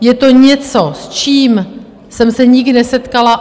Je to něco, s čím jsem se nikdy nesetkala.